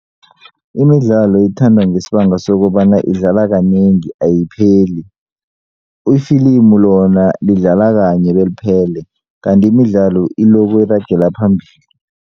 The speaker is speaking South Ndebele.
Imidlalo ethandwa ngesibanga sokobana idlala kanengi ayipheli ifilimu lona lidlala kanye beliphele kanti imidlalo iloku iragela phambili.